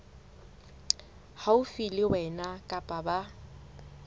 haufi le wena kapa ba